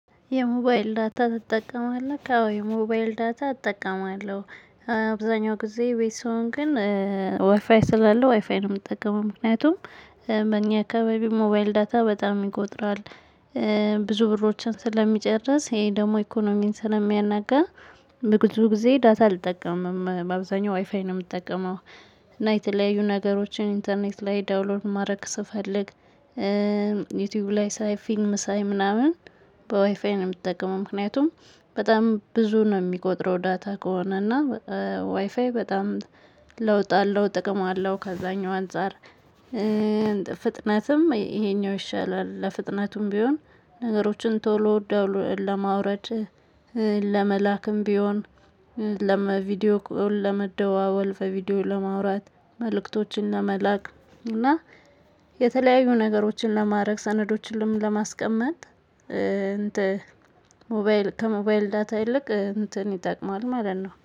የሞባይል ዳታ ትጠቀማለህ? አዎ የሞባይል ዳታ እጠቀማለሁ። አብዛኛው ጊዜ ቤት ስሆን ግን ዋይፋይ ስላለው ዋይፋይ ነው የምጠቀመው ምክንያቱም በእኛ አካባቢ ሞባይል ዳታ በጣም ይቆጥራል። ብዙ ብሮችን ስለሚጨርስ ይሄ ደግሞ ኢኮኖሚን ስለሚያናጋ። በብዙ ጊዜ ዳታ አልጠቀምም በአብዛኛው ዋይፋይ ነው የምትጠቀመው? እና የተለያዩ ነገሮችን ኢንተርኔት ላይ ዳውንሎድ ማድረግ ስፈልግ ዩቲዩብ ላይ ሳይ ፊልም ሳይ ምናምን። በዋይፋይ ነው የምትጠቀመው ምክንያቱም በጣም ብዙ ነው የሚቆጥረው። ዳታ ከሆነ እና ዋይፋይ በጣም ለውጥ አለው ጥቅም አለው ከዛኛው አንፃር። ፍጥነትም ይሄኛው ይሻላል። ለፍጥነቱም ቢሆን ነገሮችን ቶሎ ለማውረድ ለመላክም ቢሆን ለመቪዲዮ ለመደዋወል በቪዲዮ ለማውራት መልእክቶችን ለመላክ እና የተለያዩ ነገሮችን ለማድረግ ሰነዶችንም ለማስቀመጥ። እንትን ሞባይል ከሞባይል ዳታ ይልቅ እንትን ይጠቅማል ማለት ነው